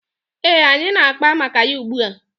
Ee, anyị na-akpa maka ya ugbua.